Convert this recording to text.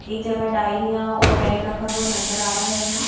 एक जगह डायरियां और बैग रखा हुआ नजर आ रहा हमें--